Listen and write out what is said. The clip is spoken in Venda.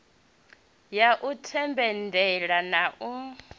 ya u themendela na u